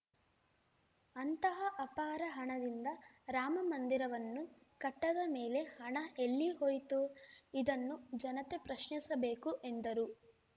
ಅಂತಹ ಅಪಾರ ಹಣದಿಂದ ರಾಮಮಂದಿರವನ್ನು ಕಟ್ಟದ ಮೇಲೆ ಹಣ ಎಲ್ಲಿ ಹೋಯಿತು ಇದನ್ನು ಜನತೆ ಪ್ರಶ್ನಿಸಬೇಕು ಎಂದರು